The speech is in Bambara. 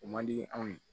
O man di anw ye